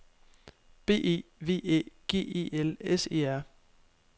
B E V Æ G E L S E R